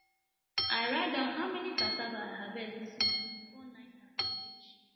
i write down how many cassava i harvest this morning before 930 reach